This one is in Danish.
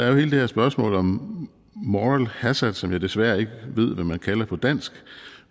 jo hele det her spørgsmål om moral hazard som jeg desværre ikke ved hvad man kalder på dansk